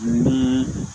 Naa